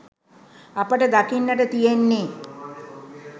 අපට දකින්නට තියෙන්නෙ